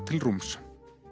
til rúms